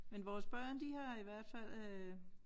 Men vores børn de har i hvert fald øh